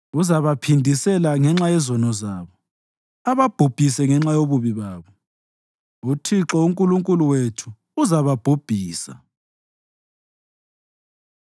Uzabaphindisela ngenxa yezono zabo ababhubhise ngenxa yobubi babo; uThixo uNkulunkulu wethu uzababhubhisa.